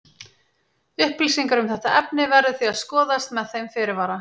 Upplýsingar um þetta efni verður því að skoðast með þeim fyrirvara.